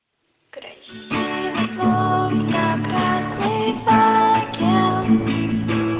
красивые руки